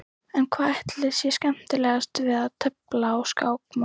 En hvað ætli sé skemmtilegast við að tefla á skákmóti?